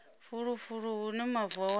fulufulu hune mavu a wanala